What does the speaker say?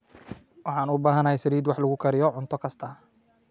Waxaan u baahanahay saliid wax lagu kariyo cunto kasta.